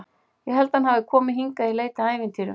Ég held að hann hafi komið hingað í leit að ævintýrum.